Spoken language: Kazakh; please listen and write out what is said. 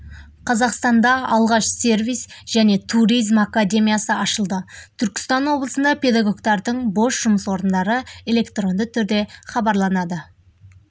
қазақстанда алғаш сервис және туризм академиясы ашылды түркістан облысында педагогтардың бос жұмыс орындары электронды түрде хабарланады